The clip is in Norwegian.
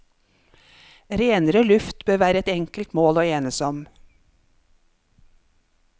Renere luft bør være et enkelt mål å enes om.